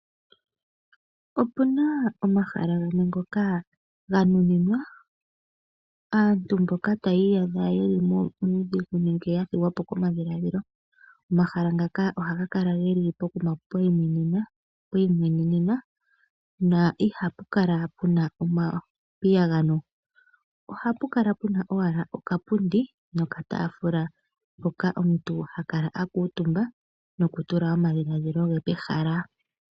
Opuna omahala gamwe ngoka ga nuninwa aantu mboka taya iyadha yeli muudhigu nenge ya thigwa po komadhiladhilo. Omahala ngaka ohaga kala geli pokuma pwi imwenenena, na ihapu kala puna omapiyagano. Ohapu kala puna owala okapundi nokataafula mpoka omuntu ha kala a kuutumba nokutula omadhiladhila ge pehala.